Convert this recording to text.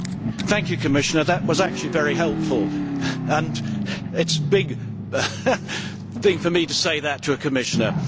Thank you, Commissioner, that was actually very helpful, and it is a big thing for me to say that to a Commissioner!